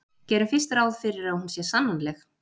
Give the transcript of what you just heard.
gerum fyrst ráð fyrir að hún sé sannanleg